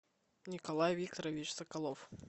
николай викторович соколов